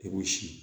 I k'o si